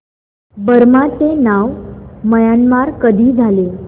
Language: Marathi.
बर्मा चे नाव म्यानमार कधी झाले